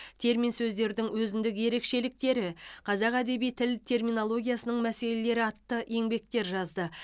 термин сөздердің өзіндік ерекшеліктері қазақ әдеби тіл терминологиясының мәселелері атты еңбектер жазды